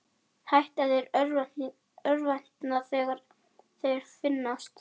Hætta þeir að örvænta þegar þeir finnast?